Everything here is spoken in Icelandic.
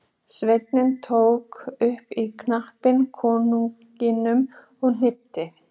Sveinninn tók upp í kampinn konunginum og hnykkti.